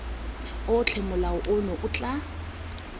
otlhe molao ono o tla